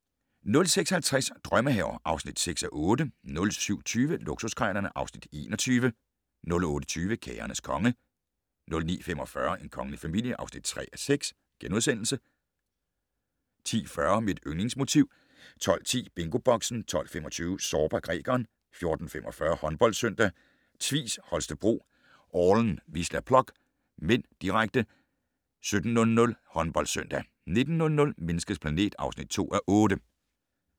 06:50: Drømmehaver (6:8) 07:20: Luksuskrejlerne (Afs. 21) 08:20: Kagernes konge 09:45: En kongelig familie (3:6)* 10:40: Mit yndlingsmotiv 12:10: BingoBoxen 12:25: Zorba, grækeren 14:45: HåndboldSøndag: Tvis Holstebro-Orlen Wisla Plock (m), direkte 17:00: HåndboldSøndag 19:00: Menneskets planet (2:8)